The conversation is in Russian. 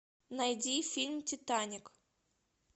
найди фильм титаник